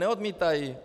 Neodmítají.